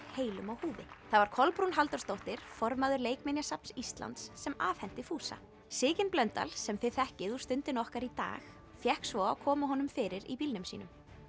heilum á húfi það var Kolbrún Halldórsdóttir formaður Leikminjasafns Íslands sem afhenti fúsa Sigyn Blöndal sem þið þekkið úr Stundinni okkar í dag fékk svo að koma honum fyrir í bílnum sínum